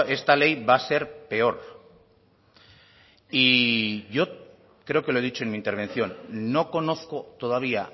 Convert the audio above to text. esta ley va a ser peor y yo creo que lo he dicho en mi intervención no conozco todavía